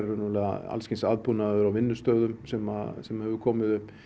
raunverulega alls kyns aðbúnaður á vinnustöðum sem sem hefur komið upp